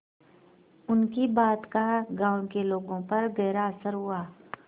उनकी बात का गांव के लोगों पर गहरा असर हुआ